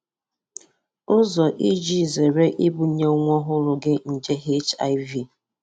Ụzọ iji zere ibunye nwa ọhụrụ gị nje ọhụrụ gị nje HIV.